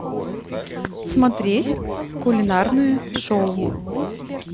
смотреть кулинарное шоу